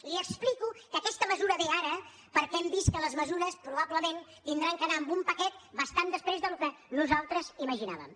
li explico que aquesta mesura ve ara perquè hem vist que les mesures probablement hauran d’anar amb un paquet bastant després del que nosaltres imaginàvem